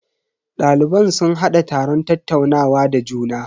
Daliban sun hada taron tattaunawa da juna.